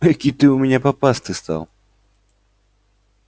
экий ты у меня попастый стал